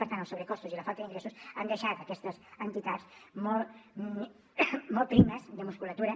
per tant els sobrecostos i la falta d’ingressos han deixat aquestes entitats molt molt primes de musculatura